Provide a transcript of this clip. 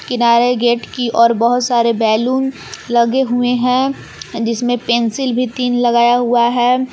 किनारे गेट की ओर बहोत सारे बैलून लगे हुए हैं जिसमें पेंसिल भी तीन लगाया हुआ है।